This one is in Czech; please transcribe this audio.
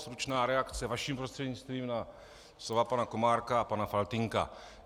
Stručná reakce vaším prostřednictvím na slova pana Komárka a pana Faltýnka.